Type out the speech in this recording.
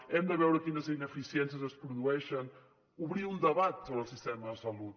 hem de veure quines ineficiències es produeixen obrir un debat sobre el sistema de salut